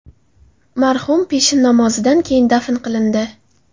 Marhum peshin namozidan keyin dafn qilindi.